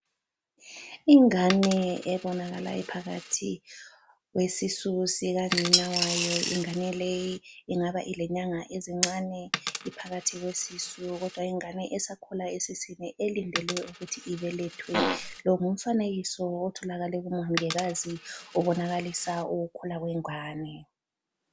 Ingane ebonakala iphakathi kwesisu sika nina wayo, ingane leyi ingaba ilenyanga ezincane iphakathi kwesisu kodwa ingane esakhula esiswini elindele ukuthi ibelethwe lo ngumfanekiso otholakele ku mongikazi obonakalisa ukukhula kwengane.